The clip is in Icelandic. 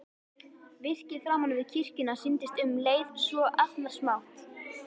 Virkið framan við kirkjuna sýndist um leið svo agnarsmátt.